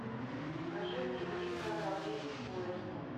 покажи мне великое ограбление поезда